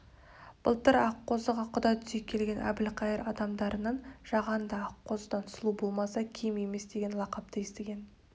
былтыр аққозыға құда түсе келген әбілқайыр адамдарынан жағанды аққозыдан сұлу болмаса кем емес деген лақапты естіген